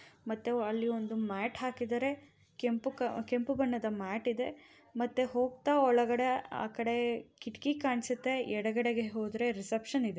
ಮತ್ತೆ ಅಲ್ಲಿ ಒಂದು ಮ್ಯಾಟ್ ಹಾಕಿದಾರೆ. ಕೆಂಪು ಕ ಬಣ್ಣದ ಮ್ಯಾಟ್ ಇದೆ. ಮತ್ತೆ ಹೋಗ್ತಾ ಒಳಗಡೆ ಆ ಕಡೆ ಕಿಟಕಿ ಕಾಣ್ಸುತ್ತೆ. ಎಡಗಡೆಗೆ ಹೋದರೆ ರಿಸೆಪ್ಶನ್ ಇದೆ.